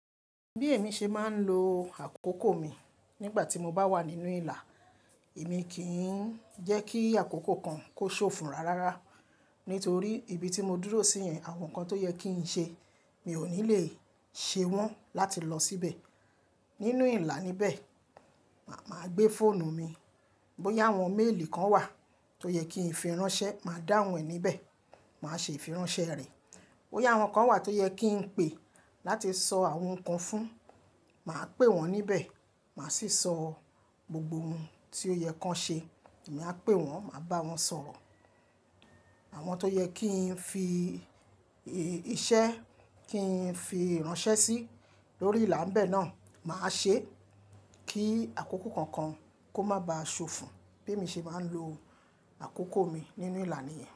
Bí èmi ṣe máa ń lo àkókò mi, nígbà tí mo bá wà nínú ìlà, èmi kì í jẹ́ kí àkókò kan kó ṣòfún rárá. Nítorí ibi tí mo dúró sí yan àwọn nǹkan tó yẹ kí n ṣe, mi ò ní lè ṣe wọ́n láti lọ síbẹ̀. Nínú ìlà ni bẹ́ẹ̀ ma màá gbé fóònù mi. Bí ó yá àwọn méèlì kan wà, tó yẹ kí n fi ránṣẹ́, màá dá wọ́n níbẹ̀, màá ṣe ìfiránṣẹ́ rẹ̀. Bí ó yá àwọn kan wà tó yẹ kí n pe láti sọ àwọn nǹkan fún, màá pè wọ́n níbẹ̀, màá sì sọ gbogbo ohun tí ó yẹ kí wọ́n ṣe. Èmi a pè wọ́n, màá bá wọn sọ̀rọ̀. Àwọn tó yẹ kí n fi,. Iṣẹ́. Kí n fi iránṣẹ́ sí lórí ìlà bẹ́ẹ̀ náà, màá ṣe é. Kí àkókò kankan, kó má ba ṣòfò. Bí èmi ṣe máa ń lo àkókò mi nínú ìlà níyẹn.